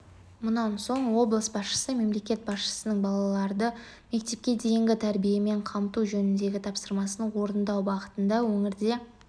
мұнан соң облыс басшысы мемлекет басшысының балаларды мектепке дейінгі тәрбиемен қамту жөніндегі тапсырмасын орындау бағытында өңірде